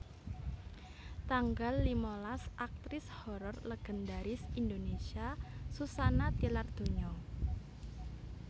Tanggal limalas Aktris horor legendaris Indonésia Suzanna tilar donya